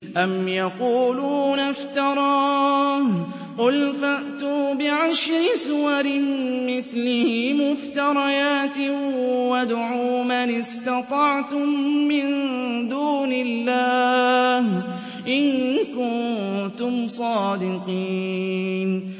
أَمْ يَقُولُونَ افْتَرَاهُ ۖ قُلْ فَأْتُوا بِعَشْرِ سُوَرٍ مِّثْلِهِ مُفْتَرَيَاتٍ وَادْعُوا مَنِ اسْتَطَعْتُم مِّن دُونِ اللَّهِ إِن كُنتُمْ صَادِقِينَ